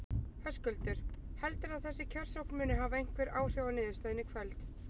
Höskuldur: Heldurðu að þessi kjörsókn muni hafa einhver áhrif á niðurstöðuna í kvöld?